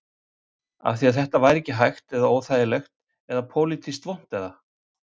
Af því að þetta væri ekki hægt eða óþægilegt eða pólitískt vont eða?